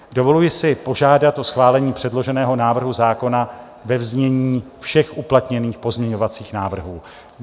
Dovoluji si požádat o schválení předloženého návrhu zákona ve znění všech uplatněných pozměňovacích návrhů.